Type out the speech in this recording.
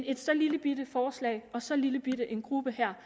et så lillebitte forslag og så lillebitte en gruppe her